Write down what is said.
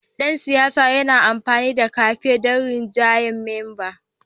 Dan siyasar yana amfani da kamfen don rinjayar memba